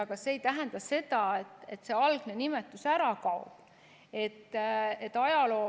Aga see ei tähenda, et see algne nimetus ära kaob.